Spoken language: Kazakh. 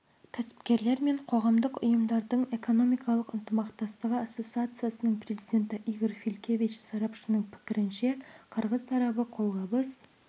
кәсіпкерлер мен қоғамдық ұйымдардың экономикалық ынтымақтастығы ассоциациясының президенті игорь филькевич сарапшының пікірінше қырғыз тарабы қолғабыс